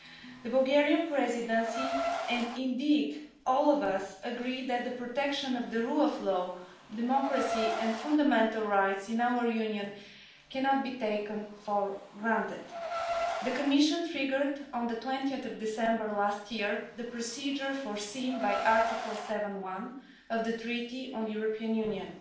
The Bulgarian Presidency, and indeed all of us, agree that the protection of the rule of law, democracy and fundamental rights in our Union cannot be taken for granted. The Commission triggered, on 20 December 2017, the procedure foreseen by Article 7 of the Treaty on European Union.